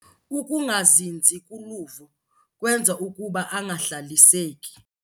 Ukungazinzi kuluvo kwenza ukuba angahlaliseki.